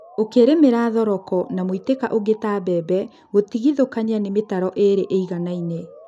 Ũkĩlĩmanĩria thoroko na mũitĩka ũngĩ ta mbembe, gũtigithũkania nĩ mĩtaro ĩli ĩiganaine